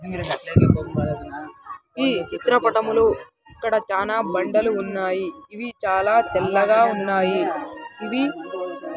ఈ చిత్రపటములు ఇక్కడ చాలా బండలు ఉన్నాయి ఇవి చాలా తెల్లగా ఉన్నాయి ఇవి.